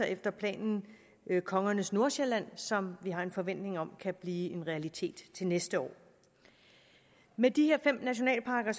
efter planerne er kongernes nordsjælland som vi har en forventning om kan blive en realitet til næste år med de her fem nationalparker